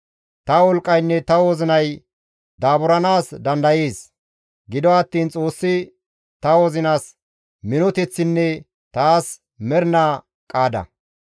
Ta wolqqaynne ta wozinay daaburanaas dandayees; gido attiin Xoossi ta wozinas minoteththinne taas mernaa qaada.